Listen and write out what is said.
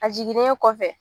A jiginnen kɔfɛ